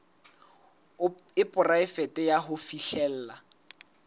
e poraefete ya ho fihlella